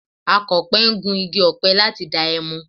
Akọ̀pẹ ń gun igi ọ̀pẹ láti dá ẹmu